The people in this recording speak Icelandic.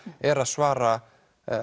er að svara